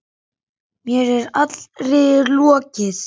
Mér er allri lokið.